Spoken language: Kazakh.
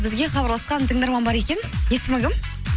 бізге хабарласқан тыңдарман бар екен есімі кім